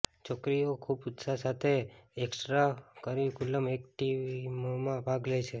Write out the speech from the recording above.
છોકરીઓ ખૂબ ઉત્સાહ સાથે એક્સટરા કરીકુલમ એક્ટીવીમાં ભાગ લે છે